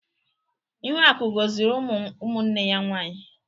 Ihuaku goziri umu ụmụnne ya nwaanyị.